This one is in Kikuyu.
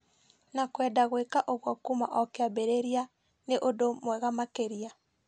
na kwenda gwĩka ũguo kuuma o kĩambĩrĩria, nĩ ũndũ mwega makĩria.